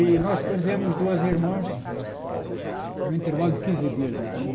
E nós perdemos duas irmãs em um intervalo de quinze dias, mais ou menos.